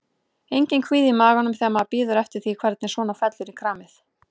Enginn kvíði í maganum þegar maður bíður eftir því hvernig svona fellur í kramið?